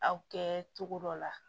Aw kɛ cogo dɔ la